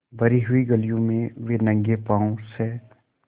भरी हुई गलियों में वे नंगे पॉँव स्